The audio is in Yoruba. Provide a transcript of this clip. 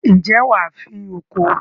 ǹjẹ́ wà á fín oko?